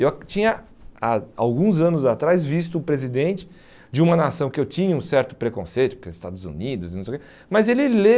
Eu tinha, há alguns anos atrás, visto o presidente de uma nação que eu tinha um certo preconceito porque Estados Unidos não sei o que, mas ele